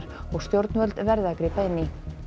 og stjórnvöld verði að grípa inn í